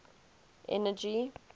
energy